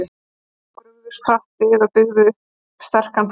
Rómverjar brugðust hratt við og byggðu upp sterkan flota.